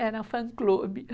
Era um fã-clube.